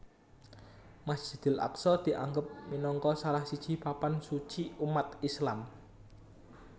Masjidil Aqsa dianggep minangka salah siji papan suci umat Islam